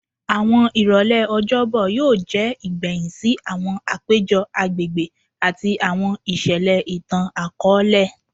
Awọn irọlẹ Ọjọbọ yoo jẹ igbẹhin si awọn apejọ agbegbe ati awọn iṣẹlẹ itan-akọọlẹ